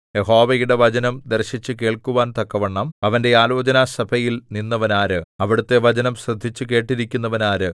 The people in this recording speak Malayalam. യഹോവയുടെ വചനം ദർശിച്ചുകേൾക്കുവാൻ തക്കവണ്ണം അവന്റെ ആലോചനസഭയിൽ നിന്നവനാര് അവിടുത്തെ വചനം ശ്രദ്ധിച്ചുകേട്ടിരിക്കുന്നവനാര്